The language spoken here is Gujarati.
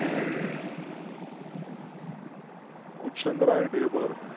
ઉત સંગ રાય, ઢેબર